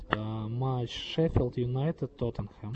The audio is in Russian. матч шеффилд юнайтед тоттенхэм